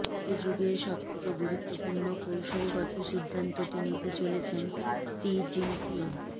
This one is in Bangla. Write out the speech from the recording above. এ যুগের সব থেকে গুরুত্বপূর্ণ কৌশলগত সিদ্ধান্তটি নিতে চলেছেন শি জিনপিং